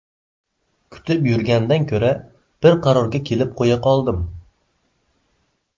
Kutib yurgandan ko‘ra, bir qarorga kelib qo‘ya qoldim.